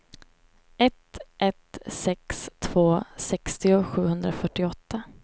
ett ett sex två sextio sjuhundrafyrtioåtta